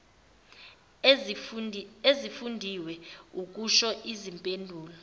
ezifundiwe ukusho izimpendulo